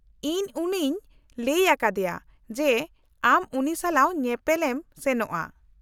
-ᱤᱧ ᱩᱱᱤᱧ ᱞᱟᱹᱭ ᱟᱠᱟᱫᱮᱭᱟ ᱡᱮ ᱟᱢ ᱩᱱᱤ ᱥᱟᱞᱟᱜ ᱧᱮᱯᱮᱞ ᱮᱢ ᱥᱮᱱᱚᱜᱼᱟ ᱾